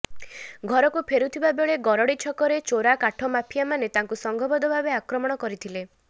ଘରକୁ ଫେରୁଥିବା ବେଳେ ଗରଡ଼ି ଛକରେ ଚୋରା କାଠ ମାଫିଆମାନେ ତାଙ୍କୁ ସଂଘବଦ୍ଧ ଭାବେ ଆକ୍ରମଣ କରିଥିଲେ